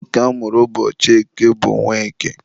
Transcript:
nwoke a mụrụ ụbọchị eke bụ Nweke.